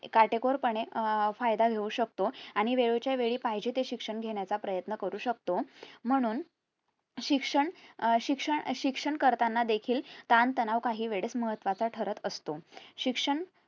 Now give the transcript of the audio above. काटेकोर पणे अह फायदा घेऊ शकतो आणि वेळच्या वेळी पाहिजे ते शिक्षण घेण्याचा प्रयत्न करू शकतो म्हणून शिक्षण अं शिक्षण अं शिक्षण करताना देखील ताणतणाव काहीवेळेस महत्वाचा ठरत असतो शिक्षण